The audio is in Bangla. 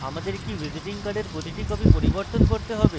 আমাদের কি visiting card প্রতিটি copy পরিবর্তন করতে have